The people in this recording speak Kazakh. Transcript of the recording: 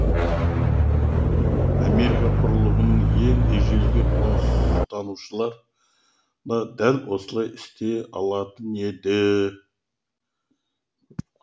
америка құрлығының ең ежелгі қоныстанушылары да дәл осылай істей алатын еді